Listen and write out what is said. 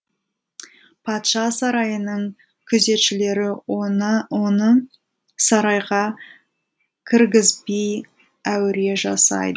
патша сарайының күзетшілері оны оны сарайға кіргізбей әуре жасай